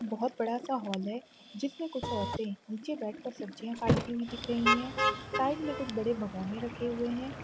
बहुत बड़ा सा हॉल हैं जिसमें कुछ औरते निचे बैठकर सब्जिया काटती हुई दिख रही हैं साइड में कुछ बड़े भगौने रखे हुए हैं।